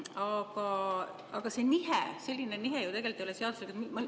Aga selline nihe ei ole ju tegelikult seaduslik.